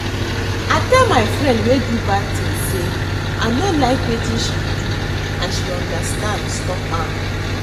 I tell my friend wey do bad thing say I no like wetin she do and she understand stop am